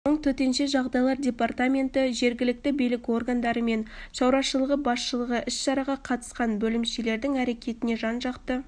соң төтенше жағдайлар департаменті жергілікті билік органдары орман шаруашылығы басшылығы іс-шараға қатысқан бөлімшелердің әрекетіне жан-жақты